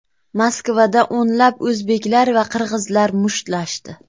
Moskvada o‘nlab o‘zbeklar va qirg‘izlar mushtlashdi.